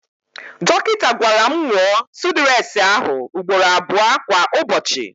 Dọkịta gwara m nwụọ súdúres ahụ ugboro abụọ kwa Ụbọchị.